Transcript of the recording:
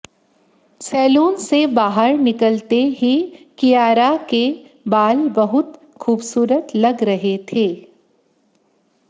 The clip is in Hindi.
सैलून से बाहर निकलते ही कियारा के बाल बहुत खूबसूरत लग रहे थे